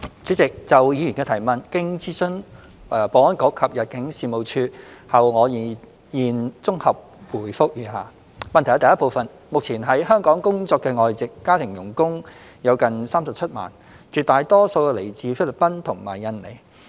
主席，就議員的質詢，經諮詢保安局及入境事務處後，我現綜合答覆如下：一目前，在香港工作的外籍家庭傭工有近37萬，絕大多數來自菲律賓和印尼。